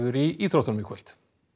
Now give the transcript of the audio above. í íþróttunum í kvöld